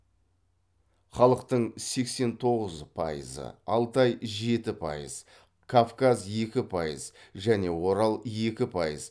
халықтың сексен тоғыз пайызы алтай жеті пайыз кавказ екі пайыз және орал екі пайыз